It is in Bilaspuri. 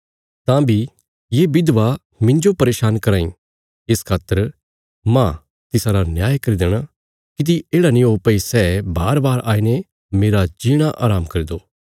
तां बी ये विधवा मिन्जो परेशान कराँ इ इस खातर मांह तिसारा न्याय करी देणा किति येढ़ा नीं ओ भई सै बारबार आईने मेरा जीणा हराम करी दो